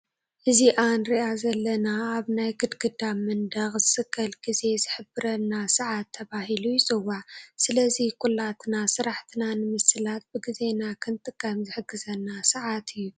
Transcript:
እዚአ እንርአ ዘለና አብ ናይ ግድግዳ መንድቅ ዝሰቀል ግዜ ዝሕብረልና ሰዓት ተባሂሉ ይፅዋዕ ሰለዚ ኩላትና ስርሐትና ነምሰላጥ ብግዜና ክንጥቀም ዝሕግዘና ሰዓትእዮ ።